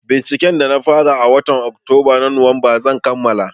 Binciken da na fara a watan Oktoba a Nuwamba zan kammala.